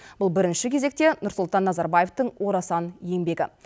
бұл бірінші кезекте нұрсұлтан назарбаевтың орасан еңбегі